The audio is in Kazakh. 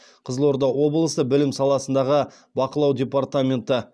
қызылорда облысы білім саласындағы бақылау департаменті